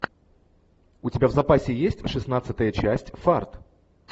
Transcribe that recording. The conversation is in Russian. у тебя в запасе есть шестнадцатая часть фарт